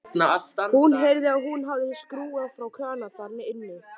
Hann heyrði að hún hafði skrúfað frá krana þar inni.